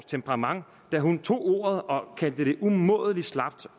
temperament da hun tog ordet og kaldte det umådelig slapt